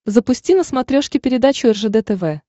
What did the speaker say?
запусти на смотрешке передачу ржд тв